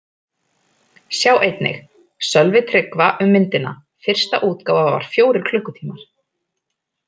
Sjá einnig: Sölvi Tryggva um myndina: Fyrsta útgáfa var fjórir klukkutímar